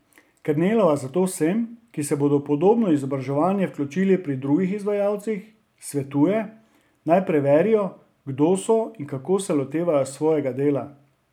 Kernelova zato vsem, ki se bodo v podobno izobraževanje vključili pri drugih izvajalcih, svetuje, naj preverijo, kdo so in kako se lotevajo svojega dela.